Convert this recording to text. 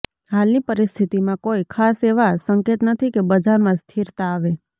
હાલની પરિસ્થિતિમાં કોઈ ખાસ એવા સંકેત નથી કે બજારમાં સ્થિરતા આવે